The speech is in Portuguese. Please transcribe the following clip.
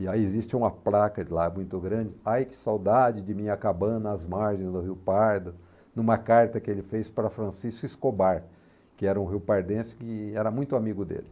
E aí existe uma placa de lá muito grande, ai que saudade de minha cabana às margens do Rio Pardo, numa carta que ele fez para Francisco Escobar, que era um riopardense que era muito amigo dele.